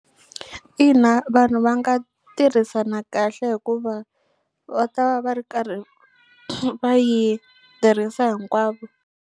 Ina vanhu va nga tirhisana kahle hikuva va ta va va ri karhi va yi tirhisa hinkwavo.